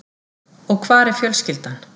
Og hvar er fjölskyldan?